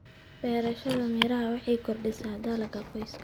Beerashada miraha waxay kordhisaa dakhliga qoyska.